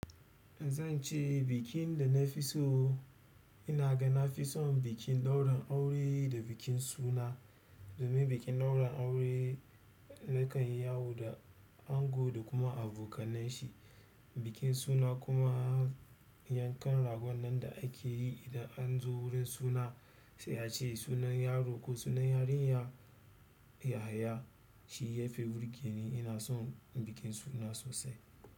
Zan ce bikin da na fi so, ina ga na fi son bikin ɗaurin aure da bikin suna. Domin bikin ɗaurin aure nakan yi yawo da ango da kuma abokanan shi. Bikin suna kuma yankan ragon nan da ake yi idan an zo wurin suna sai a ce sunan yaro ko sunan yarinya yahaya. Shi ya fi burgeni ina son bikin suna sosai.